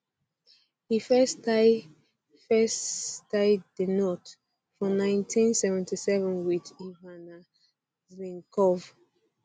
e first tie first tie di knot for nineteen seventy seven wit ivana zelnkov